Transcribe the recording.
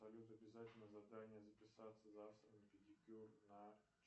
салют обязательное задание записаться завтра на педикюр на